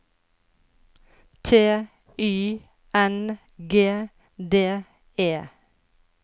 T Y N G D E